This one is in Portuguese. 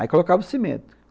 Aí colocava o cimento.